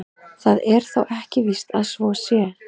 Það er ekki víst að svo sé.